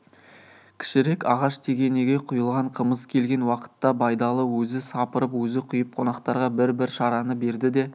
кішірек ағаш тегенеге құйылған қымыз келген уақытта байдалы өзі сапырып өзі құйып қонақтарға бір-бір шараны берді де